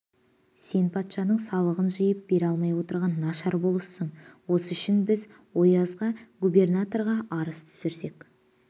сен патшаның салығын жиып бере алмай отырған нашар болыссың осы үшін біз оязға губернаторға арыз түсірсек